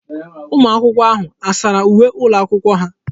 Ụmụaka ahụ a sara uwe ụlọakwụkwọ ha?